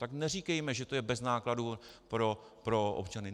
Tak neříkejme, že to je bez nákladů pro občany.